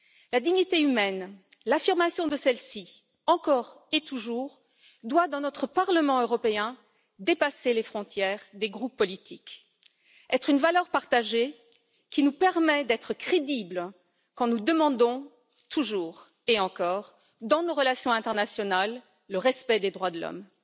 La dignité humaine, l'affirmation de celle ci, encore et toujours doit dans notre Parlement européen dépasser les frontières des groupes politiques, être une valeur partagée qui nous permet d'être crédibles quand nous demandons toujours et encore dans nos relations internationales le respect des droits de l'homme.